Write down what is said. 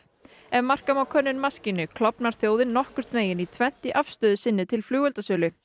ef marka má könnun maskínu klofnar þjóðin nokkurnveginn í tvennt í afstöðu sinni til flugeldasölu